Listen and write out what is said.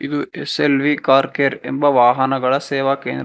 ಇದು S L V car care ಎಂಬ ವಾಹನಗಳ ಸೇವ ಕೇಂದ್ರ.